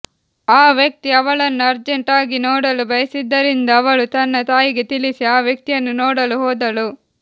ಆ ವ್ಯಕ್ತಿ ಅವಳನ್ನು ಅರ್ಜೆಂಟ್ ಆಗಿ ನೋಡಲು ಬಯಸಿದ್ದರಿಂದ ಅವಳು ತನ್ನ ತಾಯಿಗೆ ತಿಳಿಸಿ ಆ ವ್ಯಕ್ತಿಯನ್ನು ನೋಡಲು ಹೋದಳು